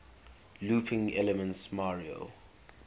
looping elements mario